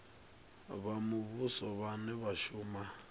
vha muvhuso vhane vha shuma